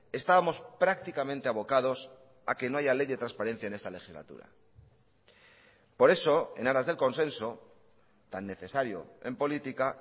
estábamos prácticamente abocados a que no haya ley de transparencia en esta legislatura por eso en aras del consenso tan necesario en política